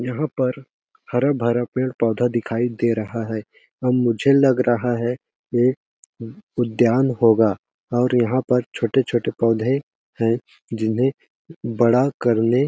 यहाँ पर हरा-भरा पेड़ -पौधा दिखाई दे रहा है अम मुझे लग रहा है एक उद्यान होगा और यहाँ पर छोटे-छोटे पौधे है जिन्हें बड़ा करने--